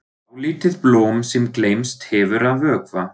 Dálítið blóm sem gleymst hefur að vökva.